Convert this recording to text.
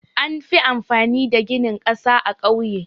Anfi amfani da gini ƙasa a ƙauye.